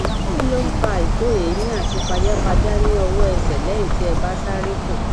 kí ló ń fa àìto eemi àti pajapajà ní ọwọẹsẹ lẹyìn tí ẹ bá sáréfò